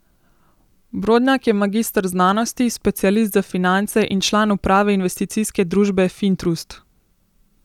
Brodnjak je magister znanosti, specialist za finance in član uprave investicijske družbe Fintrust.